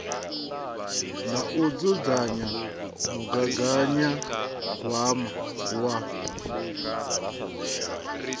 na u dzudzanya mugaganyagwama wa